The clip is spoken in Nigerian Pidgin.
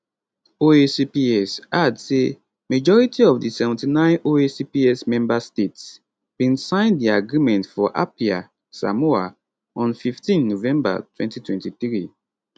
oacps add say majority of di 79 oacps member states bin sign di agreement for apia samoa on 15 november 2023